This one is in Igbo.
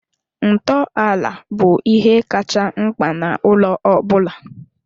Ntọala bụ ihe kacha mkpa na ụlọ ọ bụla